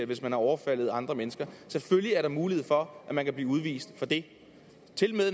hvis man har overfaldet andre mennesker selvfølgelig er der mulighed for at man kan blive udvist for det